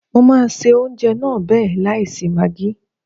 Mo máa se oúnjẹ náà bẹ́ẹ̀ láì sí magí.